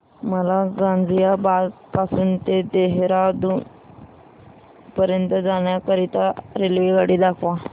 मला गाझियाबाद पासून ते देहराडून पर्यंत जाण्या करीता रेल्वेगाडी दाखवा